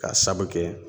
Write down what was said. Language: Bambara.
K'a sabu kɛ